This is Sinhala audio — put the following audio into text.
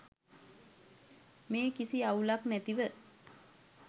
මේ කිසි අවුලක් නැතිව